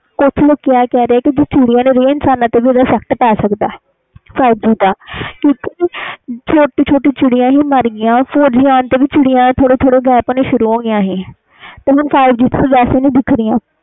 ਕੁਛ ਲੋਕੀ ਆਹ ਕਹਿ ਰਹੇ ਵ ਜੇ ਚਿੜੀਆਂ ਨਹੀਂ ਰਹੀਏ ਤੇ ਇਨਸਾਨਾਂ ਤੇ effact ਪੈ ਸਕਦਾ five G ਨਾਲ ਥੋੜੀ ਛੋਟੀ ਛੋਟੀ ਚਿੜੀਆਂ ਦੇਖ ਜਾਂਦੀਆਂ ਸੀ four G ਹੁਣ ਆਨ ਨਾਲ ਹੁਣ ਉਹ ਵੀ ਨਹੀਂ ਮਿਲ ਰਹੀ five G ਆਨ ਨਾਲ